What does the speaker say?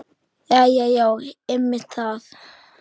Jæja já, einmitt það.